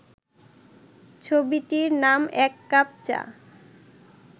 ছবিটির নাম এক কাপ চা